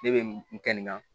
Ne bɛ n kɛ nin ka